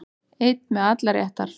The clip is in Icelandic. Einn með allar réttar